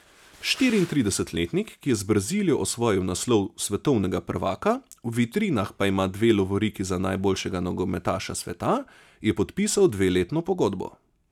Štiriintridesetletnik, ki je z Brazilijo osvojil naslov svetovnega prvaka, v vitrinah pa ima dve lovoriki za najboljšega nogometaša sveta, je podpisal dveletno pogodbo.